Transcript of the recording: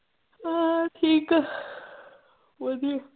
ਹਾਂ ਠੀਕ ਆ ਵਧੀਆ।